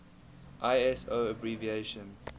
iso abbreviation